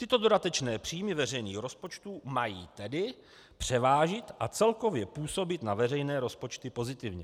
Tyto dodatečné příjmy veřejných rozpočtů mají tedy převážit a celkově působit na veřejné rozpočty pozitivně.